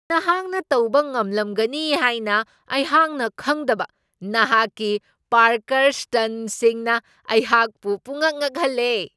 ꯅꯍꯥꯛꯅ ꯇꯧꯕ ꯉꯝꯂꯝꯒꯅꯤ ꯍꯥꯏꯅ ꯑꯩꯍꯥꯛꯅ ꯈꯪꯗꯕ ꯅꯍꯥꯛꯀꯤ ꯄꯥꯔꯀꯔ ꯁ꯭ꯇꯟꯠꯁꯤꯡꯅ ꯑꯩꯍꯥꯛꯄꯨ ꯄꯨꯡꯉꯛ ꯉꯛꯍꯜꯂꯦ ꯫